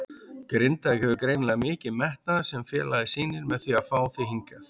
Grindavík hefur greinilega mikinn metnað sem félagið sýnir með því að fá þig hingað?